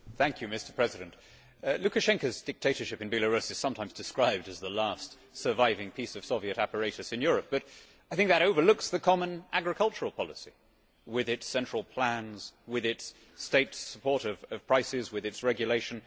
Mr President, Lukashenko's dictatorship in Belarus is sometimes described as the last surviving piece of Soviet apparatus in Europe, but I think that overlooks the common agricultural policy, with its central plans, with its state support of prices, with its regulation.